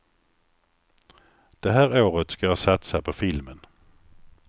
Det här året ska jag satsa på filmen.